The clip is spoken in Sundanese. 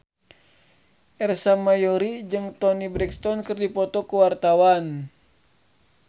Ersa Mayori jeung Toni Brexton keur dipoto ku wartawan